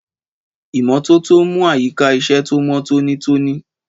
Ìmọ́tótó ń mú àyíká iṣẹ́ tó mọ́ tónítóní.